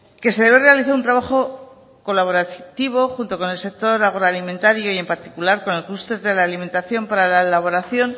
que se debe realizare un trabajo colaborativo junto con el sector agroalimentario y en particular con el clúster de la alimentación para la elaboración